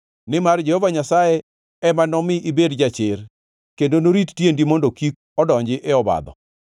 nimar Jehova Nyasaye ema nomi ibed jachir kendo norit tiendi mondo kik odonji e obadho.